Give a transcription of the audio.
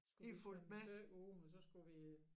Skulle vi svømme et stykke ud men så skulle vi